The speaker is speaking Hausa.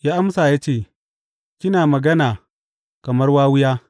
Ya amsa ya ce, Kina magana kamar wawiya.